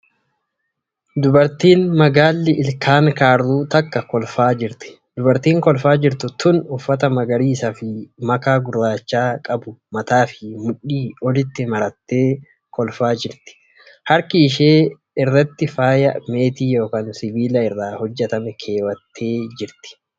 Dubartiin magaalli ilkaan kaarruu takka kolfaa jirti. Dubartiin kolfaa jirtu tun uffata magariisa fi makaa gurraachaa qabu mataa fi mudhii olitti marattee kolfaa nirti. Harka ishee irratti faaya meetii yookan sibiila irraa hojjatame keewwattee jira.